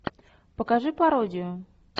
покажи пародию